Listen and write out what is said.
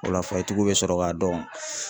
O la bɛ sɔrɔ k'a dɔn